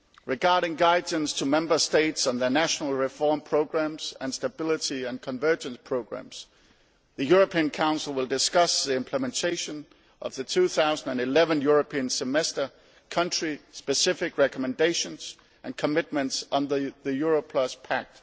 Regarding guidance to Member States on their national reform programmes and stability and convergence programmes, the European Council will discuss the implementation of the 2011 European Semester country specific recommendations and commitments under the Euro Plus Pact.